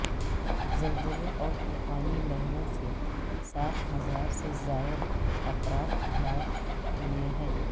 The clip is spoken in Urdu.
زلزلے اور طوفانی لہروں سے سات ہزار سے زائد افراد ہلاک ہوئے ہیں